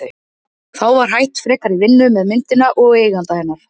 Þá var hætt frekari vinnu með myndina og eiganda hennar